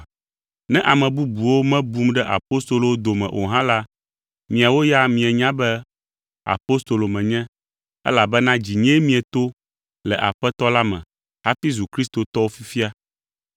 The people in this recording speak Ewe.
Ne ame bubuwo mebum ɖe apostolowo dome o hã la, miawo ya mienya be apostolo menye elabena dzinyee mieto le Aƒetɔ la me hafi zu kristotɔwo fifia.